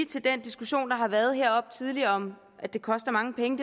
til den diskussion der har været heroppe tidligere om at det koster mange penge